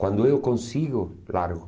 Quando eu consigo, largo.